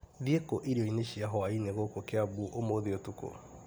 Thiĩ kũ irio-inĩ cia hwainĩ gũkũ Kĩambu ũmũthĩ ũtukũ ?